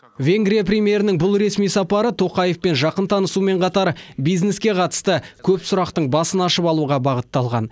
венгрия премьерінің бұл ресми сапары қасым жомарт тоқаевпен жақын танысумен қатар бизнеске қатысты көп сұрақтың басын ашып алуға бағытталған